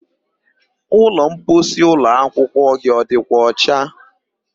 Ụlọmposi ụlọakwụkwọ gị ọ dịkwa ọcha?